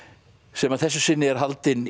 sem að þessu sinni er haldinn